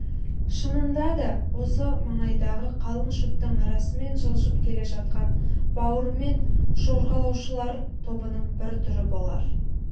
шынында да осы маңайдағы қалың шөптің арасымен жылжып келе жатқан бауырымен жорғалаушылар тобының бір түрі болар